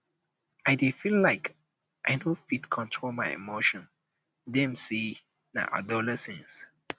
i dey feel like i no fit control my emotions dem um sey na adolescence um